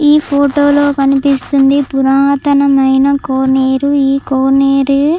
ఈ ఫోటోలో కనిపిస్తుంది పురాతనమైన కోనేరు. ఈ కోనేరు --